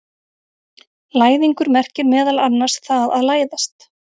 Læðingur merkir meðal annars það að læðast.